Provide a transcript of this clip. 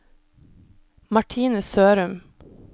Martine Sørum